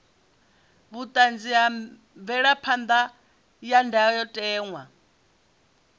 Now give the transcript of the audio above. vhulamukanyi na mvelaphan ḓa ya ndayotewa